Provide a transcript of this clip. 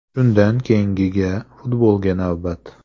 Shundan keyingiga futbolga navbat.